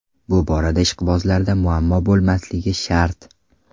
Bu borada ishqibozlarda muammo bo‘lmasligi shart.